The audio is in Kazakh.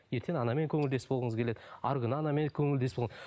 ертең анамен көңілдес болғыңыз келеді арғы күні анамен көңілдес бол